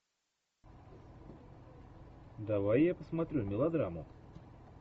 давай я посмотрю мелодраму